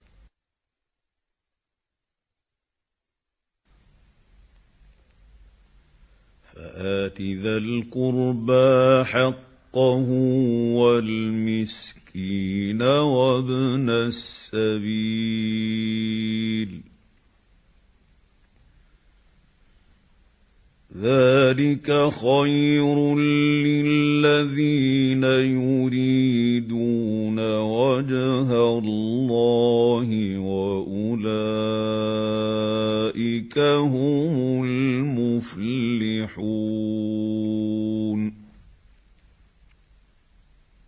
فَآتِ ذَا الْقُرْبَىٰ حَقَّهُ وَالْمِسْكِينَ وَابْنَ السَّبِيلِ ۚ ذَٰلِكَ خَيْرٌ لِّلَّذِينَ يُرِيدُونَ وَجْهَ اللَّهِ ۖ وَأُولَٰئِكَ هُمُ الْمُفْلِحُونَ